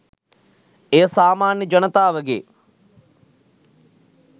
එය සාමාන්‍ය ජනතාවගේ